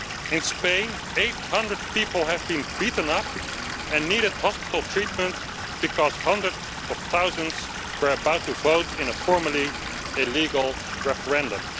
In Spain 800 people have been beaten up and needed hospital treatment because hundreds of thousands were about to vote in a formally illegal referendum.